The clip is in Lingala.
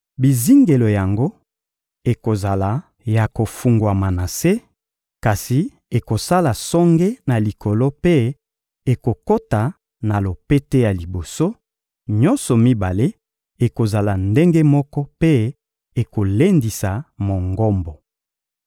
Bizingelo yango ekozala ya kofungwama na se, kasi ekosala songe na likolo mpe ekokota na lopete ya liboso: nyonso mibale ekozala ndenge moko mpe ekolendisa Mongombo.